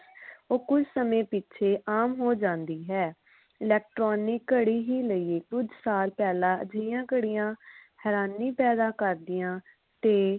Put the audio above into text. ਉਹ ਕੁਝ ਸਮੇਂ ਪਿੱਛੇ ਆਮ ਹੋ ਜਾਂਦੀ ਹੈ electronic ਘੜੀ ਹੀ ਨਹੀਂ ਕੁਝ ਸਾਲਾਂ ਪਹਿਲਾ ਅਜਿਹੀਆਂ ਘੜੀਆਂ ਹੈਰਾਨੀ ਪੈਦਾ ਕਰਦੀਆਂ ਤੇ